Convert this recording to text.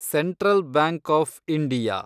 central bank of India